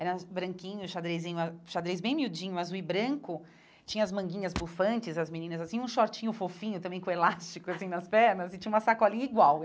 Era branquinho, xadrezinho ah, xadrez bem miudinho, azul e branco, tinha as manguinhas bufantes, as meninas assim, um shortinho fofinho, também com elástico, assim, nas pernas, e tinha uma sacolinha igual.